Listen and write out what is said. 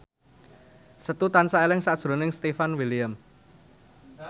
Setu tansah eling sakjroning Stefan William